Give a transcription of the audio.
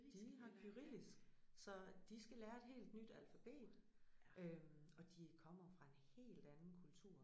De har kyrillisk så de skal lære et helt nyt alfabet øh og de kommer jo fra en helt anden kultur